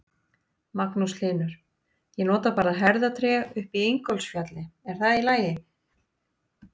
Magnús Hlynur: Ég nota bara herðatré upp í Ingólfsfjalli, er það í lagi?